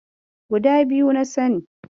Guda biyu na sani.